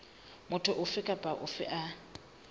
motho ofe kapa ofe a